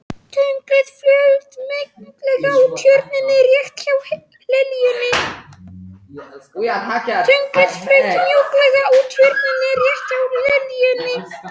Tunglið flaut mjúklega á Tjörninni rétt hjá liljunni.